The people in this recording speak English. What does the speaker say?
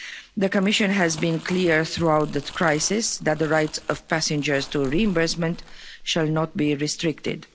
The Commission has been clear throughout this crisis that the rights of passengers to reimbursement shall not be restricted.